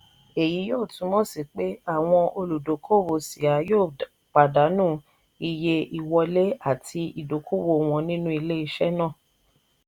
èyí yóò túmọ̀ sí pé àwọn olùdókòwò ṣíà yóò pàdánù iye ìwọlé àti ìdókòwò wọn nínú ilé iṣẹ́ náà.